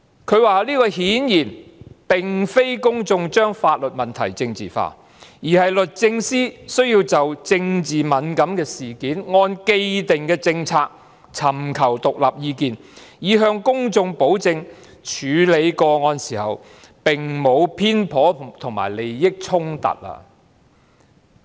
他說這顯然並非公眾把法律問題政治化，而是律政司需要就政治敏感的事件，按既定政策尋求獨立意見，以向公眾保證在處理個案時沒有偏頗及利益衝突。